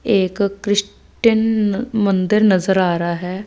एक क्रिस्टेन मंदिर नज़र आ रहा है।